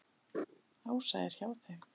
Ása er hjá þeim.